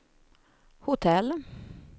hotell